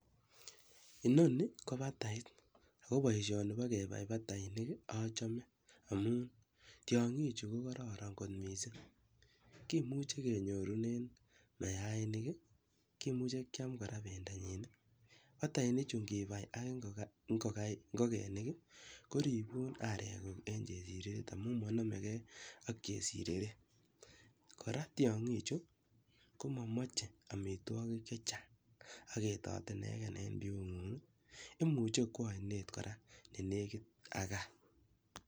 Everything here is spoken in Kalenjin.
Inoni ko batait ako boishoni bo kebai batainik achame amun tyong'ichu ko kororon kot mising kimuche kenyorunen mayainik, kimuche keam kora bendonyin. Batainichu ngibai ak ngokenik ko ribun are ng'uk ak chesireret amun nmanamegei ak chesirere. Kora tyong'ichu ko mamache amitwogik che chang, aketoti inege en biu ng'ung, imuche kowa oinet kora ne negit ak gaa.